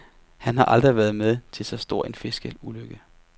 Han har aldrig været med til så stor en fiskelykke.